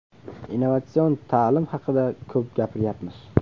Innovatsion ta’lim haqida ko‘p gapiryapmiz.